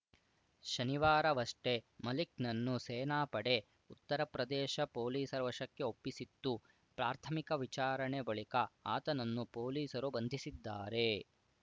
ಶನಿವಾರವಷ್ಟೇ ಮಲಿಕ್‌ನನ್ನು ಸೇನಾಪಡೆ ಉತ್ತರಪ್ರದೇಶ ಪೊಲೀಸರ ವಶಕ್ಕೆ ಒಪ್ಪಿಸಿತ್ತು ಪ್ರಾಥಮಿಕ ವಿಚಾರಣೆ ಬಳಿಕ ಆತನನ್ನು ಪೊಲೀಸರು ಬಂಧಿಸಿದ್ದಾರೆ